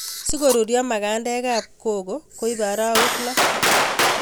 Si korurio magandek ab koko koibe arawek loo